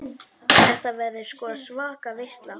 Þetta verður sko svaka veisla.